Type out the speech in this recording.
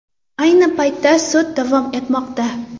Ayni paytda sud davom etmoqda .